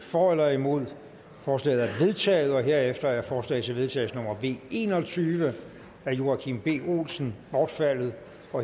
for eller imod stemte forslaget er vedtaget herefter er forslag til vedtagelse nummer v en og tyve af joachim b olsen bortfaldet